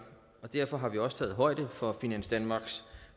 derfor har vi også taget højde for finans danmarks